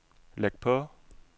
læg på